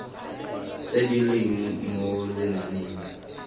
tse di leng mo lenaaneng